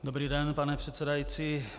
Dobrý den, pane předsedající.